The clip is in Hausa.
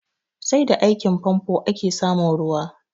Sai da aikin famfo ake samun ruwa